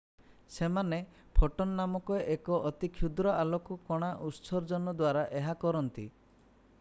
ସେମାନେ ଫୋଟନ୍ ନାମକ ଏକ ଅତି କ୍ଷୁଦ୍ର ଆଲୋକ କଣା ଉତ୍ସର୍ଜନ ଦ୍ୱାରା ଏହା କରନ୍ତି